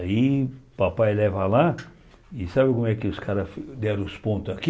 Aí papai leva lá e sabe como é que os caras deram os pontos aqui?